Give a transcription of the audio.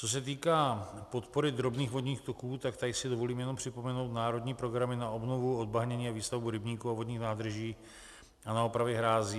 Co se týká podpory drobných vodních toků, tak tady si dovolím jenom připomenout národní programy na obnovu, odbahnění a výstavbu rybníků a vodních nádrží a na opravy hrází.